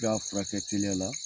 I b'a furakɛ teliya la